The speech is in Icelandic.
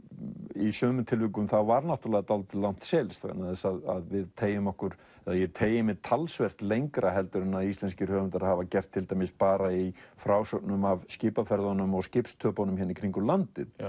í sumum tilvikum var dálítið langt seilst vegna þess að við teygjum okkur ég teygi mig talsvert lengra en íslenskir höfundar hafa gert til dæmis bara í frásögnum af skipaferðunum og skipstöpunum hérna í kringum landið